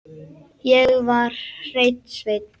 Ég var hreinn sveinn.